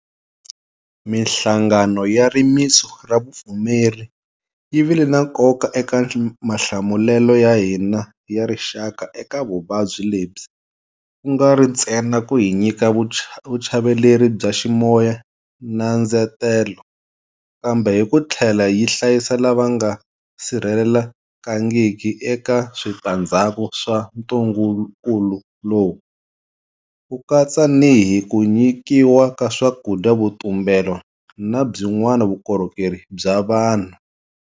Mihlangano ya rimitsu ra vupfumeri yi vile na nkoka eka mahlamulelo ya hina ya rixaka eka vuvabyi lebyi, ku nga ri ntsena ku hi nyika vuchaveleri bya ximoya na ndzetelo, kambe hi ku tlhela yi hlayisa lava nga sirhelelekangiki eka switandzhaku swa ntungukulu lowu, ku katsa ni hi ku nyikiwa ka swakudya, vutumbelo na byin'wana vukorhokeri bya vanhu.